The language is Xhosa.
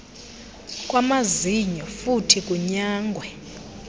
kwamazinyo futhi kunyangwe